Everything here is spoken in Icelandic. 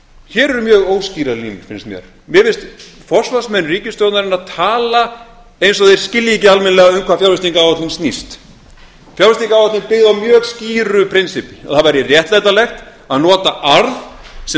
hér eru mjög óskýrar línur finnst mér mér finnst forsvarsmenn ríkisstjórnarinnar tala eins og þeir skilji ekki almennilega um hvað fjárfestingaráætlun snýst fjárfestingaráætlun er byggð á mjög skýru prinsippi að það væri réttlætanlegt að nota arð sem